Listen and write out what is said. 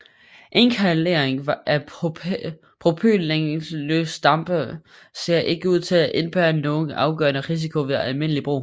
Inhalering af propylenglykoldampe ser ikke ud til at indebære nogen afgørende risiko ved almindelig brug